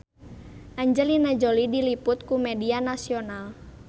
Angelina Jolie diliput ku media nasional